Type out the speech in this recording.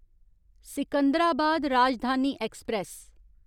Secunderabad Rajdhani express